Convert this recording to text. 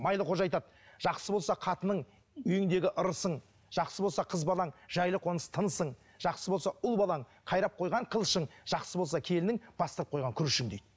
майлықожа айтады жақсы болса қатының үйіңдегі ырысың жақсы болса қыз балаң жайлы қоныс тынысың жақсы болса ұл балаң қайрап қойған қылышың жақсы болса келінің бастап қойған күрішің дейді